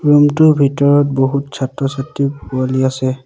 Room টোৰ ভিতৰত বহুত ছাত্ৰ ছাত্ৰী পোৱালি আছে।